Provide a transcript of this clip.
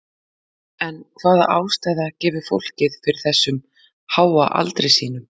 En hvaða ástæða gefur fólkið fyrir þessum háa aldri sínum?